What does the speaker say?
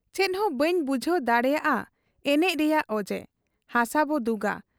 ᱪᱮᱫᱦᱚᱸ ᱵᱟᱹᱧ ᱵᱩᱡᱷᱟᱹᱣ ᱫᱟᱲᱮᱭᱟᱫ ᱟ ᱮᱱᱮᱡ ᱨᱮᱭᱟᱝ ᱚᱡᱮ ᱾ ᱦᱟᱥᱟᱵᱚ ᱫᱩᱜᱟ ᱾